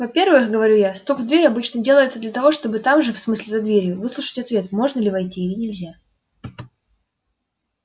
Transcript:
во-первых говорю я стук в дверь обычно делается для того чтобы там же в смысле за дверью выслушать ответ можно ли войти или нельзя